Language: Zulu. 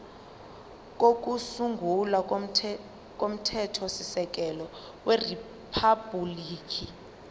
kokusungula komthethosisekelo weriphabhuliki